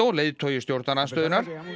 leiðtogi stjórnarandstöðunnar